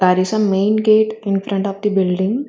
There is a main gate in front of the building.